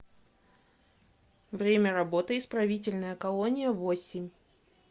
время работы исправительная колония восемь